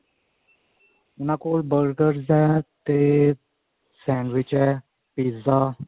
ਉਹਨਾ ਕੋਲ burgers ਨੇ ਤੇ sandwich ਹੈ pizza